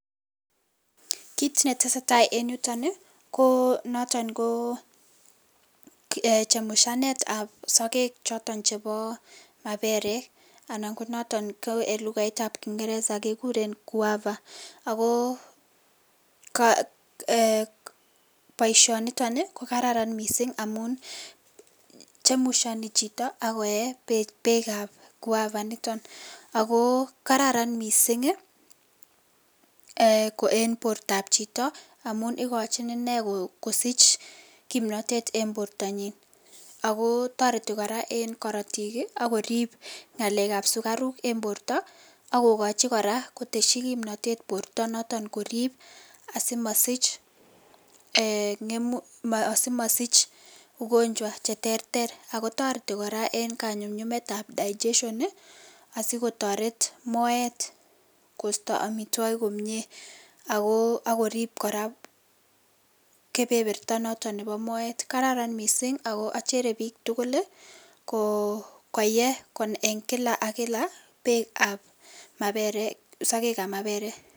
Kit netesee taa en yuton ii konoton koo ee chemushanetab sokek choton chebo maberek anan konoton ko en lukaitab kingereza kekuren guava ako ee boishoniton ii kokararan missing' amun chemushoni chitobak koyee bekab guava initon ako kararan missing' en bortab chito amun ikochin inee kosich komnotet en bortanyin ako toreti koraa en korotik ii ak korib ngalekab sukaruk en borto ak kokochi koraa koteshi kimnotet borto noton korib asimosich ee ngemu asimosich ugonjwa cheterter ako toreti koraa en kanyumnyumetab digestion ii asikotoret moet kosto omitwogik komie ak korib koraa kebeberta noton nebo moet , kararan missing' ako ochere bik tugul koyee en kila ak kila bekab maberek sokekab maberek.